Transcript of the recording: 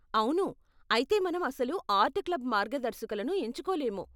అవును, అయితే మనం అసలు ఆర్ట్ క్లబ్ మార్గదర్శకులను ఎంచుకోలేము.